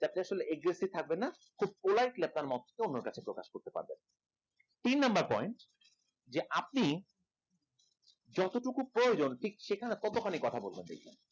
আপনি আসলে aggressive থাকবেন না খুব politely আপনার বক্তব্য অন্যের কাছে প্রকাশ করতে পারবেন তিন number point যে আপনি যতোটুকু প্রয়োজন ঠিক সেখানে ততখানি কথা বলবেন